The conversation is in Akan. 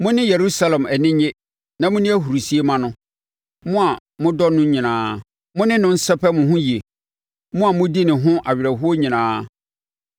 Mo ne Yerusalem ani nnye na monni ahurisie mma no, mo a modɔ no nyinaa; mo ne no nsɛpɛ mo ho yie, mo a modi ne ho awerɛhoɔ nyinaa.